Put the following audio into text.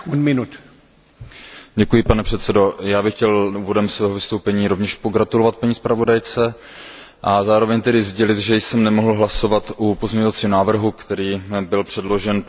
Pane předsedající, já bych chtěl úvodem svého vystoupení rovněž pogratulovat paní zpravodajce a zároveň tedy sdělit, že jsem nemohl hlasovat u pozměňovacího návrhu, který byl předložen, protože mi taky nefungovala karta.